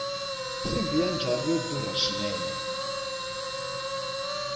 nsimbhi ya njhini ya durha swinene